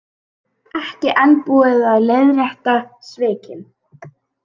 Ekki enn búið að leiðrétta svikin